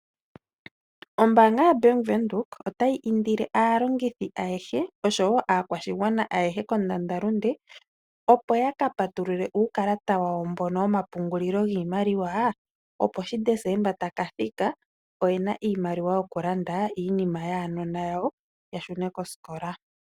Ombaanga yoBank Windhoek, otayi indile aalongithi ayehe noshowo aakwashigwana ayehe kondandalunde, opo ya kapatulule uukalata wawo mboka womapungulilo giimaliwa opo uuna Desemba ta ka thika oye na iimaliwa ya gwana okulanda iinima yaanona yawo ya shune kosikola.